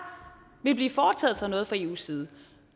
ville blive foretaget noget fra eus side